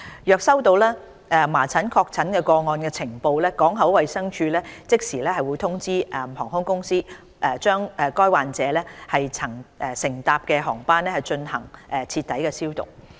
若接獲麻疹確診個案的呈報，港口衞生處會即時通知航空公司，把該患者曾乘搭的航班進行徹底消毒。